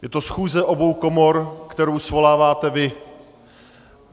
Je to schůze obou komor, kterou svoláváte vy.